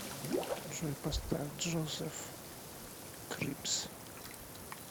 джой поставь джозеф крипс